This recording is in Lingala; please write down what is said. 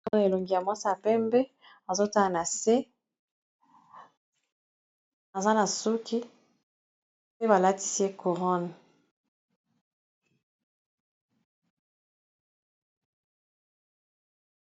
Namoni elongi ya mwasi ya pembe azotana na se aza na suki pe balatisi ye couronne.